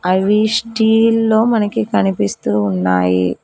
అవి స్టీల్ లో మనకి కనిపిస్తూ ఉన్నాయి.